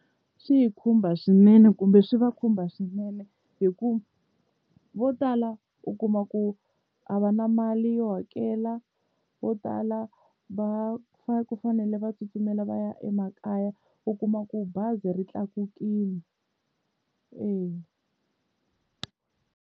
Swi hi khumba swinene kumbe swi va khumba swinene hikuva vo tala u kuma ku a va na mali yo hakela, vo tala va ku fanele va tsutsumela va ya emakaya u kuma ku bazi ri tlakukile, e-e.